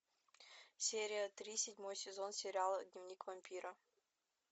серия три седьмой сезон сериала дневник вампира